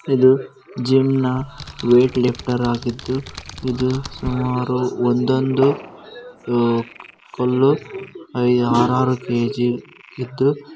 ಇದು ಜಿಮ್ ನ weight lifter ಆಗಿದ್ದು ಇದು ಸುಮಾರು ಒಂದೊಂದು ಕಲ್ಲು ಆರಾರು ಕೆ.ಜಿ ಇದ್ದು.